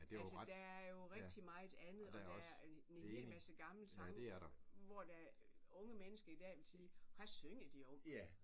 Altså der er jo rigtig meget andet og der er en en hel masse gamle sange hvor der unge mennesker i dag ville sige hvad synger de om